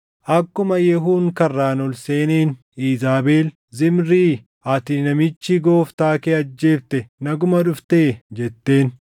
Akkuma Yehuun karraan ol seeneen Iizaabel, “Zimrii, ati namichi gooftaa kee ajjeefte naguma dhuftee?” jetteen.